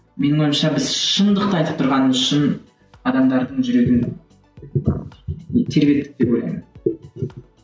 менің ойымша біз шындықты айтып тұрғанымыз үшін адамдардың жүрегін тербедік деп ойлаймын